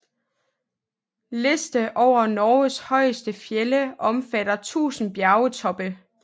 Liste over Norges højeste fjelde omfatter 1000 bjergtoppe